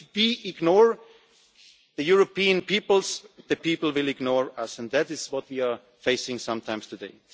project. If we ignore the European people, the people will ignore us, and that is what we are facing sometimes